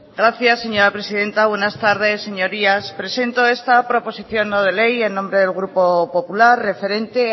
gracias señora presidenta buenas tardes señorías presento esta proposición no de ley en nombre del grupo popular referente